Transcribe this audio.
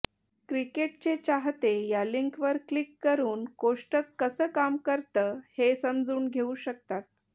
क्रिकेटचे चाहते या लिंकवर क्लिक करून कोष्टक कसं काम करतं हे समजून घेऊ शकतात